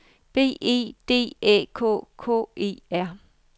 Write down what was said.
B E D Æ K K E R